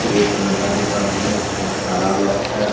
Red colour का दुकान है उसमें ताला लॉक है।